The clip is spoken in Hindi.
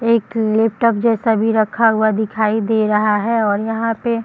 एक लेपटॉप जैसा भी रखा हुआ दिखाई दे रहा है और यहाँ पे --